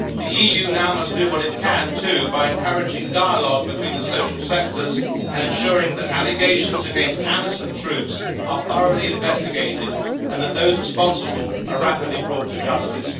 The EU, too, must now do what it can by encouraging dialogue between the social sectors and ensuring that allegations against AMISOM troops are thoroughly investigated and that those responsible are rapidly brought to justice.